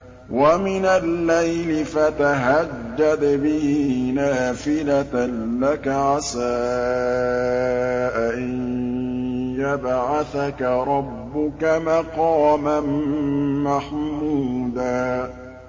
وَمِنَ اللَّيْلِ فَتَهَجَّدْ بِهِ نَافِلَةً لَّكَ عَسَىٰ أَن يَبْعَثَكَ رَبُّكَ مَقَامًا مَّحْمُودًا